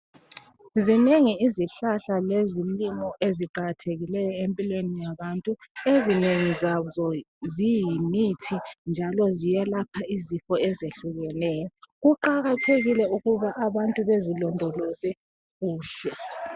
Zinengi izihlahla lezilimo eziqakathekileyo empilweni yabantu. Ezinengi zazo ziyimithi njalo ziyelapha izifo ezehlukeneyo. Kuqakathekile ukuba abantu bezilondoloze kuhle.